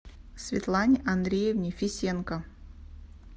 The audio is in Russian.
светлане андреевне фисенко